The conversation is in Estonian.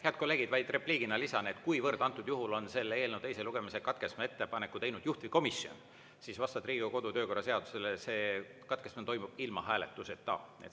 Head kolleegid, vaid repliigina lisan, et kuivõrd antud juhul on selle eelnõu teise lugemise katkestamise ettepaneku teinud juhtivkomisjon, siis vastavalt Riigikogu kodu- ja töökorra seadusele see katkestamine toimub ilma hääletuseta.